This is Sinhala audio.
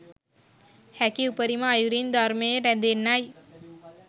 හැකි උපරිම අයුරින් ධර්මයේ රැඳෙන්නයි